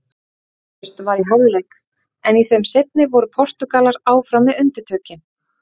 Markalaust var í hálfleik en í þeim seinni voru Portúgalar áfram með undirtökin.